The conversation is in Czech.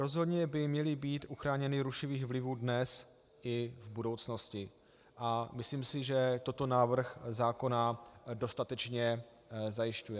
Rozhodně by měly být uchráněny rušivých vlivů dnes i v budoucnosti a myslím si, že toto návrh zákona dostatečně zajišťuje.